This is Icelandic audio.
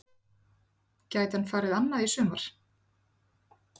Gæti hann farið annað í sumar?